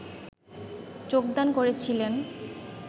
যোগদান করেছিলেন